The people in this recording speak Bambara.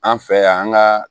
An fɛ yan an ka